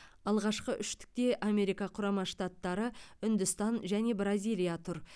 алғашқы үштікте америка құрама штаттары үндістан және бразилия тұр